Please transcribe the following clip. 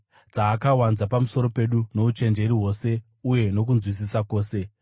dzaakawanza pamusoro pedu nouchenjeri hwose uye nokunzwisisa kwose.